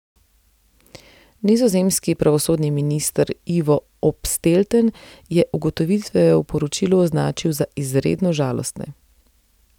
Nizozemski pravosodni minister Ivo Opstelten je ugotovitve v poročilu označil za izredno žalostne.